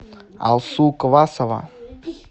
алсу квасова